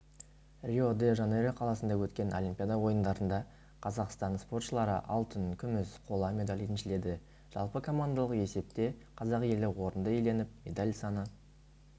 рио-де-жанейро қаласында өткен олимпиада ойындарында қазақстан спортшылары алтын күміс қола медаль еншіледі жалпы командалық есепте қазақ елі орынды иеленіп медаль саны